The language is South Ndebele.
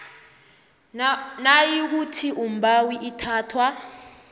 nayikuthi umbawi uthathwa